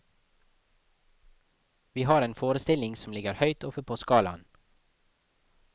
Vi har en forestilling som ligger høyt oppe på skalaen.